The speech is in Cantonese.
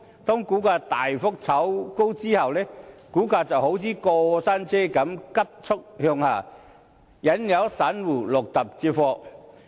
當股價大幅炒高後，股價便好像過山車般急速向下，引誘散戶入局接貨。